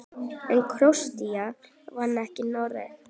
En Króatía vann ekki Noreg.